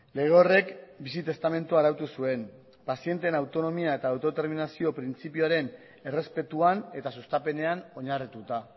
lege horrek bizi testamentua arautu zuen pazienteen autonomia eta autodeterminazio printzipioaren errespetuan eta sustapenean oinarrituta